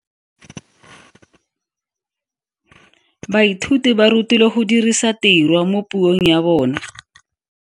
Baithuti ba rutilwe go dirisa tirwa mo puong ya bone.